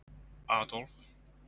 Adólf